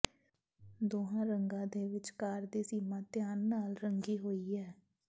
ਦੋਹਾਂ ਰੰਗਾਂ ਦੇ ਵਿਚਕਾਰ ਦੀ ਸੀਮਾ ਧਿਆਨ ਨਾਲ ਰੰਗੀ ਹੋਈ ਹੈ